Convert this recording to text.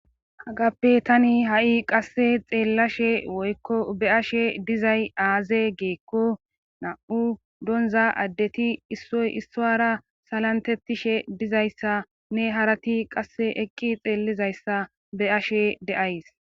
Hagappe tani ha7i qasse xeellashe woykko be ashe dizay aaze geekko nam7u donza addeti issoy issoara salantettishe dizayssa ne harati qasse eqqi xeellizayssa be'ashe de7ays.